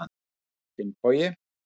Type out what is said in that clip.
Finnbogi